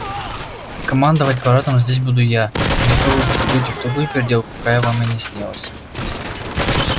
командовать парадом здесь буду я не то вы попадёте в такую переделку какая вам и не снилась